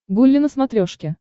гулли на смотрешке